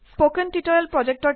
হেডিংবোৰ underline কৰক